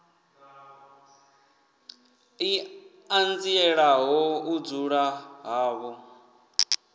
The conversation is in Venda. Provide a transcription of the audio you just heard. i ṱanzielaho u dzula havho